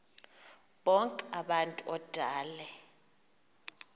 bonk abantu odale